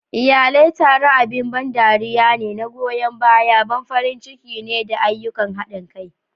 Iyalai tare abin ban dariya ne na goyan baya, ban farin ciki ne, da ayyukan hadin kai.